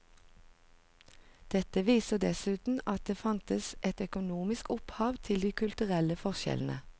Dette viser dessuten at det fantes et økonomisk opphav til de kulturelle forskjellene.